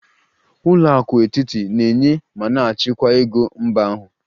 Ụlọ akụ etiti na-enye ma na-achịkwa ego mba ahụ